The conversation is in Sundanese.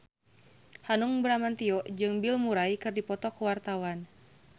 Hanung Bramantyo jeung Bill Murray keur dipoto ku wartawan